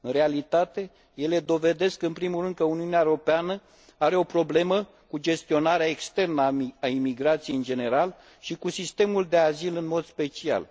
În realitate, ele dovedesc în primul rând că Uniunea Europeană are o problemă cu gestionarea externă a emigrației în general și cu sistemul de azil în mod special.